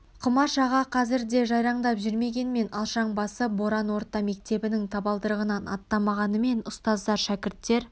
құмаш аға қазір де ортамызда жайраңдап жүрмегенмен алшаң басып боран орта мектебінің табалдырығынан аттамағанымен ұстаздар шәкірттер